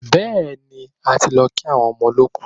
Bẹ́ẹ̀ni, a ti lọ kí àwọn ọmọ olọ́kù.